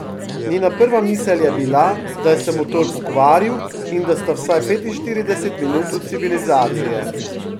Njena prva misel je bila, da se je motor pokvaril in da sta vsaj petinštirideset minut od civilizacije.